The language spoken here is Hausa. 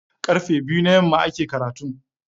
Karfe biyu na yamma ake karatun.